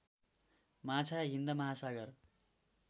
माछा हिन्द महासागर